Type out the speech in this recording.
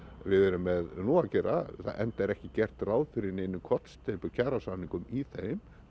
við erum nú að gera enda er ekki gert ráð fyrir neinni kollsteypu í kjarasamningum í þeim